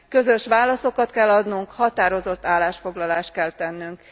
Közös válaszokat kell adnunk, határozott állásfoglalást kell tennünk.